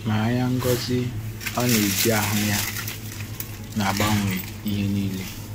Ma anya ngosi ọ na-eji ahụ ya na-agbanwe ihe niile.